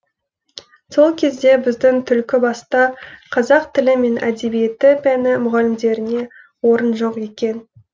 сол кезде біздің түлкібаста қазақ тілі мен әдебиеті пәні мұғалімдеріне орын жоқ екен